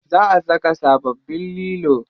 Za a saka sababbin lilo.